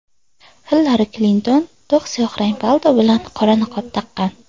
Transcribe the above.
Xillari Klinton to‘q siyohrang palto bilan qora niqob taqqan.